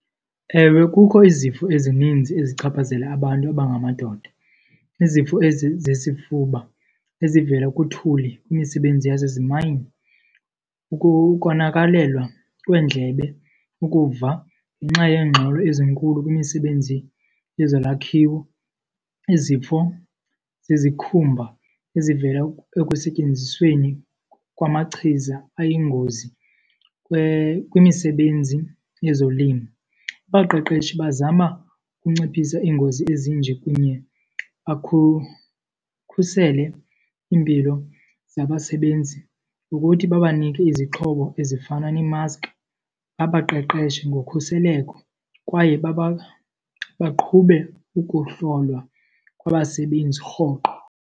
Ewe, kukho izifo ezininzi ezichaphazela abantu abangamadoda. Izifo ezizesifuba ezivela kuthuli kwimisebenzi yasezimayini, ukonakalelwa kweendlebe ukuva ngenxa yeengxolo ezinkulu kwimisebenzi yezolwakhiwo, izifo zezikhumba ezivela ekusetyenzisweni kwamachiza ayingozi kwimisebenzi yezolimo. Abaqeqeshi bazama ukunciphisa iingozi ezinje kunye iimpilo zabasebenzi ngokuthi babanike izixhobo ezifana nee-mask, babaqeqeshe ngokhuseleko kwaye baqhube ukuhlolwa kwabasebenzi rhoqo.